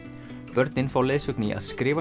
börn fá leiðsögn í að skrifa